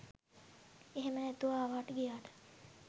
එහෙම නැතිව ආවට ගියාට